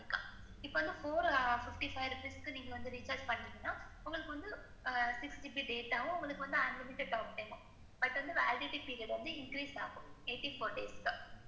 இப்ப வந்து four fifty five rupees நீங்க வந்து recharge பண்ணிங்கன்னா உங்களுக்கு வந்து, six GB data உங்களுக்கு வந்து six GB data, unlmited talk time, but, validity period வந்து increase ஆகும், eighty four days சுக்கு.